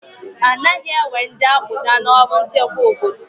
Anaghị ewe ndị akpụda n'ọrụ nchekwa obodo